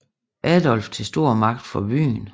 Adolf til stor magt for byen